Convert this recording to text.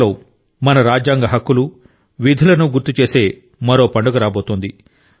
త్వరలో మన రాజ్యాంగ హక్కులు విధులను గుర్తుచేసే మరో పండుగ రాబోతోంది